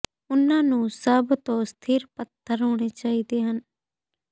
ਉਨ੍ਹਾਂ ਨੂੰ ਸਭ ਤੋਂ ਸਥਿਰ ਪੱਥਰ ਹੋਣੇ ਚਾਹੀਦੇ ਹਨ